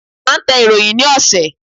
À ń tẹ ìròyìn ni ọ̀sẹ̀.